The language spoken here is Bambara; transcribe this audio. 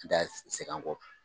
ta segin an kɔ